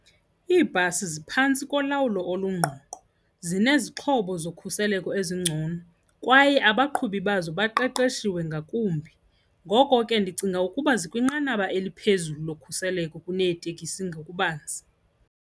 Iibhasi ziphantsi kolawulo olungqongqo, zinezixhobo zokhuseleko ezingcono kwaye abaqhubi bazo baqeqeshiwe ngakumbi. Ngoko ke ndicinga ukuba zikwinqanaba eliphezulu lokhuseleko kuneeteksi ngokubanzi.